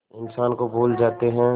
इंसान को भूल जाते हैं